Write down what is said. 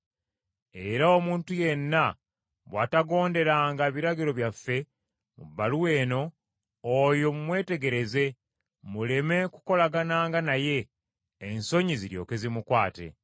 Era omuntu yenna bw’atagonderanga biragiro byaffe mu bbaluwa eno, oyo mumwetegereze, muleme kukolagananga naye, ensonyi ziryoke zimukwate.